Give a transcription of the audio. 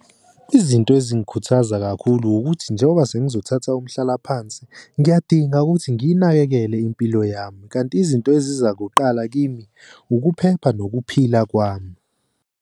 Izinto ezingikhuthaza kakhulu ukuthi njengoba sengizothatha umhlalaphansi ngiyadinga ukuthi ngiyinakekele impilo yami. Kanti izinto eziza kuqala kimi ukuphepha nokuphila kwami.